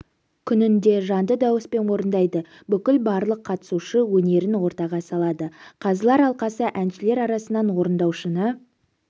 күнінде жанды дауыспен орындайды бүгін барлық қатысушы өнерін ортаға салады қазылар алқасы әншілер арасынан орындаушыны